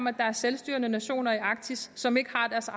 at der er selvstyrende nationer i arktis som ikke har deres